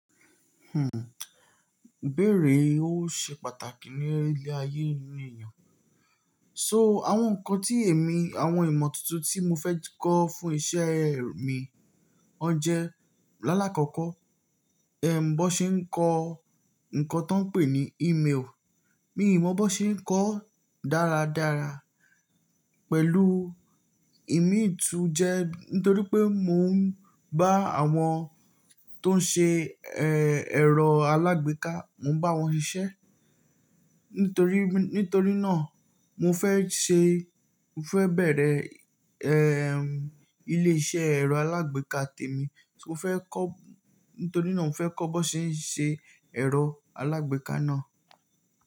Hmm, ìbéèrè ó ṣe pàtàkì ní ilé ayé eníyan. So àwọn nǹkan tí èmi àwọn ìmọ̀ tuntun tí mo fẹ́ kọ́ fún iṣẹ́ mi wọje. Lálá kọ́kọ́, ẹm, bó ṣe ń kọ́ nǹkan tó ń pè ní email. Mi ò mọ̀ bó ṣe ń kọ́ dáradára pẹ̀lú ìmi tún jẹ nítorí pé mò ń bá àwọn tó ń ṣe, ẹ́, ẹ̀rọ alágbèéká, mò ń bá wọn ṣiṣẹ́. Nítorí, nítorí náà mo fẹ́ ṣe, mo fẹ́ bẹ̀rẹ̀, ẹ́, ilé iṣẹ́ ẹ̀rọ alágbèéká tèmi. Mo fẹ́ kọ́, nítorí náà mò fẹ́ kọ́ bó ṣe ń ṣe ẹ̀rọ alágbèéká náà.